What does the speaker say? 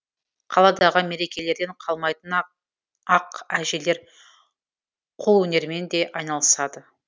қаладағы мерекелерден қалмайтын ақ ақ әжелер қолөнермен де айналысады